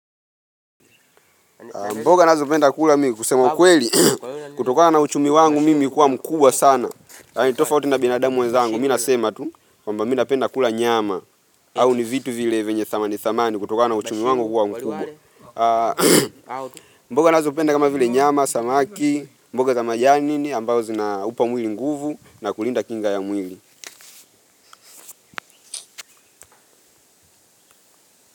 Mboga nazo napenda kula mimi kusema kweli, kutokana na uchumi wangu mimi kuwa mkubwa sana. Tofauti na binadamu mwezangu, mimi nasema tu, kwamba mimi napenda kula nyama. Au ni vitu vile venye thamani thamani kutokana na uchumi wangu kuwa mkubwa. Mboga nazo napenda kama vile nyama, samaki, mboga za majani, ambao zinaupa mwili nguvu na kulinda kinga ya mwili.